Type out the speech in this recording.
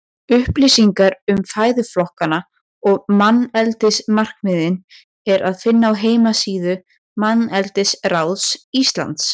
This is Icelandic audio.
Upplýsingar um fæðuflokkana og manneldismarkmiðin er að finna á heimasíðu Manneldisráðs Íslands.